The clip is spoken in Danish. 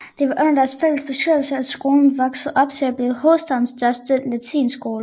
Det var under deres fælles bestyrelse at skolen voksede op til at blive hovedstadens største latinskole